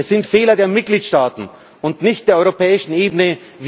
Es sind Fehler der Mitgliedstaaten und nicht der europäischen Ebene!